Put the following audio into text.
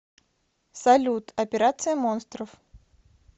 салют операция монстров